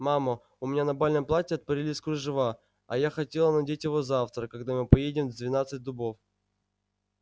мама у меня на бальном платье отпорились кружева а я хотела надеть его завтра когда мы поедем в двенадцать дубов